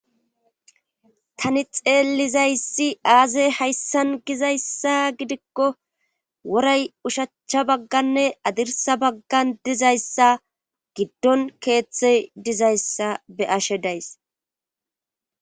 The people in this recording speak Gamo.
tani xeelizayssi aazey hayssan gizayssa gidikko woray oshachcha bagganne adirsa baggan dizayssa giddon keeththey dizayssa be ashe days